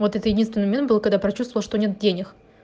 вот это единственный момент был когда про чувствовала что нет денег